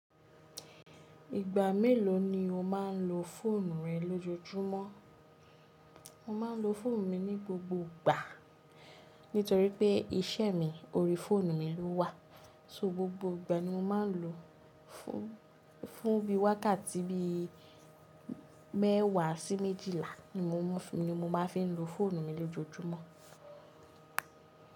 Ìgbà mélòó ni o má n lo fóònù rẹ lójojúmọ́? Mo má n lo fóònù mi ní gbogbo ìgbà nítorí pé iṣẹ́ mi ori fóònù mi ló wà. So gbogbo ìgbà ni mo má n lò ó. Fún bí i wákàtí bí i mẹ́wàá sí méjìlá ni mo má n fi lo fóònù mi lójojúmọ́.